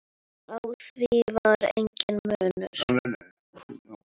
Á því var enginn munur.